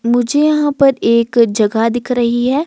मुझे यहां पर एक जगह दिख रही है।